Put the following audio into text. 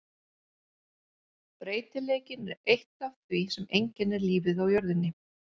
Breytileikinn er eitt af því sem einkennir lífið á jörðinni.